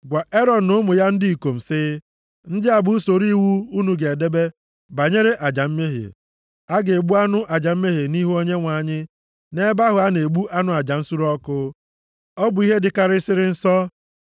“Gwa Erọn na ụmụ ya ndị ikom, sị, ‘Ndị a bụ usoro iwu unu ga-edebe banyere aja mmehie. A ga-egbu anụ aja mmehie nʼihu Onyenwe anyị, nʼebe ahụ a na-egbu anụ aja nsure ọkụ. Ọ bụ ihe dịkarịsịrị nsọ.